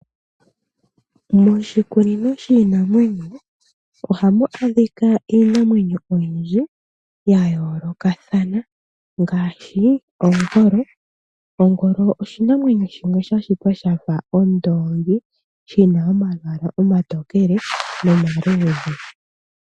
Moshikunino shiinamwenyo ohamu adhika iinamwenyo oyindji gayolokathana ngaashi ongolo. Ongolo oshinamwenyo shimwe sha shitwa shafa ondoongi. Shina omayala gamwe omaluudhe gamwe omatokele.